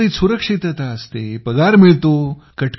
नोकरीत सुरक्षितता असते पगार मिळतो